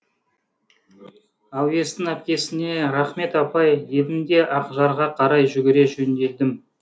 әуестің әпкесіне рақмет апай дедім де ақжарға қарай жүгіре жөнелдім